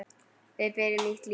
Við byrjum nýtt líf.